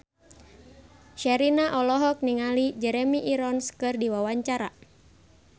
Sherina olohok ningali Jeremy Irons keur diwawancara